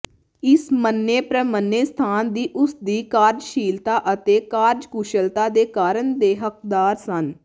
ਇਸ ਮੰਨੇ ਪ੍ਰਮੰਨੇ ਸਥਾਨ ਦੀ ਉਸ ਦੀ ਕਾਰਜਸ਼ੀਲਤਾ ਅਤੇ ਕਾਰਜਕੁਸ਼ਲਤਾ ਦੇ ਕਾਰਨ ਦੇ ਹੱਕਦਾਰ ਸਨ